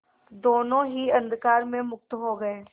दोेनों ही अंधकार में मुक्त हो गए